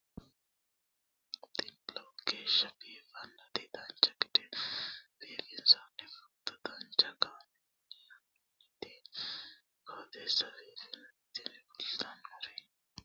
tini lowo geeshsha biiffannoti dancha gede biiffanno footo danchu kaameerinni haa'noonniti qooxeessa biiffannoti tini kultannori maatiro seekkine la'niro biiffannota faayya ikkase kultannoke misileeti yaate